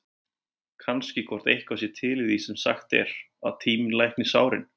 Kannski hvort eitthvað sé til í því sem sagt er, að tíminn lækni sárin?